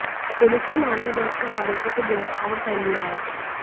police ने मामला दर्ज कर आरोपी को गिरफ्तार कर लिया है